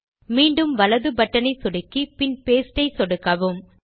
மீண்டும் வலது பட்டனை சொடுக்கி பின் பாஸ்டே ஐ சொடுக்கவும்